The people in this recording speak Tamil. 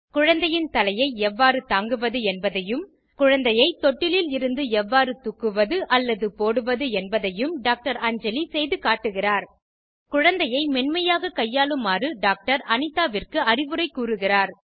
குழந்தையின் தலையை எவ்வாறு தாங்குவது என்பதையும் குழந்தையை தொட்டிலில் இருந்து எவ்வாறு தூக்குவது அல்லது போடுவது என்பதையும் டாக்டர் அஞ்சலி செய்து காட்டுகிறார் குழந்தையை மென்மையாக கையாளுமாறு டாக்டர் அனிதாவிற்கு அறிவுரை கூறுகிறார்